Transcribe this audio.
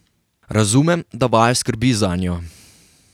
Razumem, da vaju skrbi zanjo.